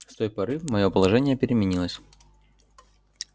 с той поры моё положение переменилось